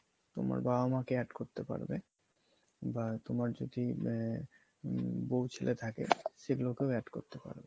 তোমার বাবা মা কে add করতে পারবে বা তোমার যদি আহ হম বৌ ছেলে থাকে সেগুলোকেও add করতে পারবে।